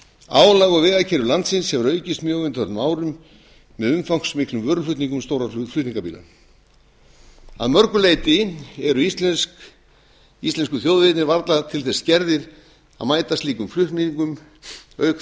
álag á vegakerfi landsins hefur aukist mjög á undanförnum árum með umfangsmiklum vöruflutningum stórra flutningabíla að mörgu leyti eru íslensku þjóðvegirnir varla til þess gerðir að mæta slíkum flutningum auk